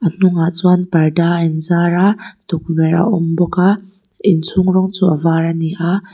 a hnungah chuan parda a in zar a tukverh a awm bawk a inchhung rawng chu a var ani a.